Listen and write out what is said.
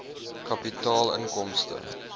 kapitaal inkomste